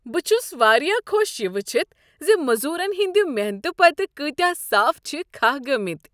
بہٕ چھس واریاہ خۄش یہ وٕچھتھ ز مزورن ہٕنٛد محنتہٕ پتہٕ کۭتیٛاہ ززچ صاف چھ کھہہ گٔمٕتۍ۔